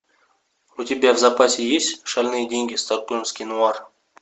у тебя в запасе есть шальные деньги стокгольмский нуар